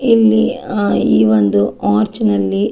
ಇಲ್ಲಿ ಆ ಈ ಒಂದು ಆರ್ಚ್ ನಲ್ಲಿ.